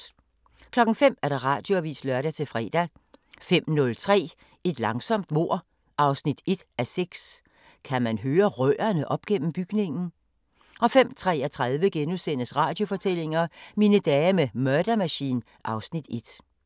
05:00: Radioavisen (lør-fre) 05:03: Et langsomt mord 1:6 – Kan man høre rørene op gennem bygningen? 05:33: Radiofortællinger: Mine dage med Murder Machine (Afs. 1)*